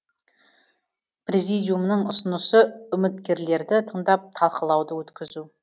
президиумның ұсынысы үміткерлерді тыңдап талқылауды өткізу